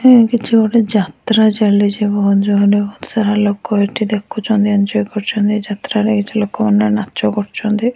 କିଛି ଗୋଟେ ଯାତ୍ରା ଚାଲିଚି ବୋହୁତ ଜୋରେ ବୋହୁତ ସାରା ଲୋକ ଏଠି ଦେଖୁଚନ୍ତି ଏଞ୍ଜୟ୍ କରୁଚନ୍ତି ଯାତ୍ରାରେ କିଛି ଲୋକମାନେ ନାଚ କରୁଚନ୍ତି ।